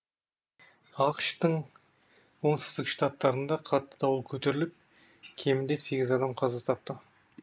ақш тың оңтүстік штаттарында қатты дауыл көтеріліп кемінде сегіз адам қаза тапты